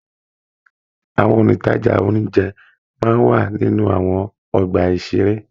Àwọn ontaja oúnjẹ máa n wà nínú àwọn ọgbà-ìṣeré.